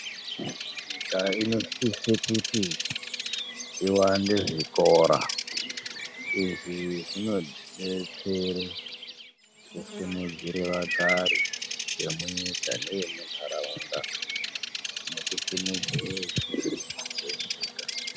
Nyika inosisa kuti iwande zvikora. Izvi zvinotidetsera kusimudzire vagari vemunyika nevemuntaraunda nekusimudzira upfumi hwenyika.